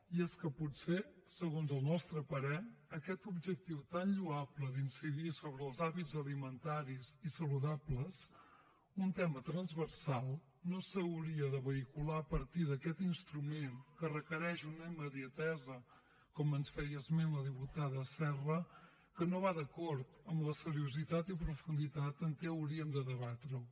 i és que potser segons els nostre parer aquest objectiu tan lloable d’incidir sobre els hàbits alimentaris i saludables un tema transversal no s’hauria de vehicular a partir d’aquest instrument que requereix una immediatesa com ens feia esment la diputada serra que no va d’acord amb la seriositat i profunditat amb què hauríem de debatre ho